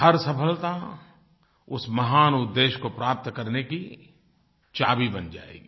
हर सफलता उस महान उद्देश्य को प्राप्त करने की चाभी बन जायेगी